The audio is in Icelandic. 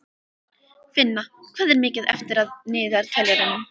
Finna, hvað er mikið eftir af niðurteljaranum?